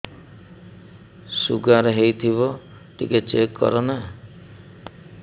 sugar ହେଇଥିବ ଟିକେ check କର ନା